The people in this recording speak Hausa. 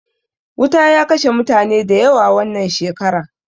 Wuta ya kashe mutane da yawa wannan shekara